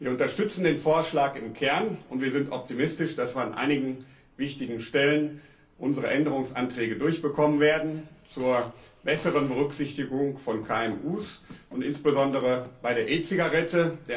Wir unterstützen den Vorschlag im Kern, und wir sind optimistisch, dass wir an einigen wichtigen Stellen unsere Änderungsanträge durchbekommen werden zur besseren Berücksichtigung von KMU und insbesondere bei der E Zigarette.